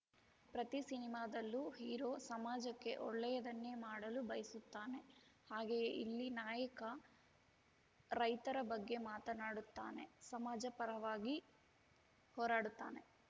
ಪ್ರತಿ ಸಿನಿಮಾದಲ್ಲೂ ಹೀರೋ ಸಮಾಜಕ್ಕೆ ಒಳ್ಳೆಯದನ್ನೇ ಮಾಡಲು ಬಯಸುತ್ತಾನೆ ಹಾಗೆಯೇ ಇಲ್ಲಿ ನಾಯಕ ರೈತರ ಬಗ್ಗೆ ಮಾತನಾಡುತ್ತಾನೆ ಸಮಾಜ ಪರವಾಗಿ ಹೋರಾಡುತ್ತಾನೆ